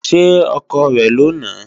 Ṣé ọkọ rẹ̀ ló nàá?